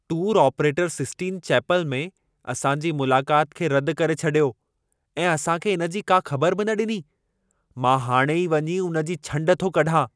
Tour operator Sistine Chapel में असां जी मुलाकात खे रद करे छॾियो ऐं असां खे इन जी का ख़बर बि न ॾिनी। मां हाणी ई वञी उन जी छंड थो कढां।